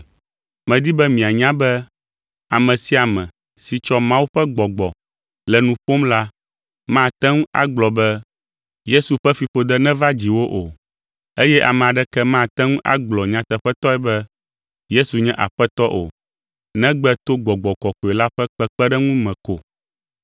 Medi be mianya be ame sia ame si tsɔ Mawu ƒe Gbɔgbɔ le nu ƒom la, mate ŋu agblɔ be, “Yesu ƒe fiƒode neva dziwò” o, eye ame aɖeke mate ŋu agblɔ nyateƒetɔe be, “Yesu nye Aƒetɔ” o, negbe to Gbɔgbɔ Kɔkɔe la ƒe kpekpeɖeŋu me ko.